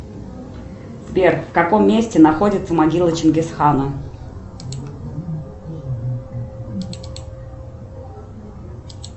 сбер в каком месте находится могила чингисхана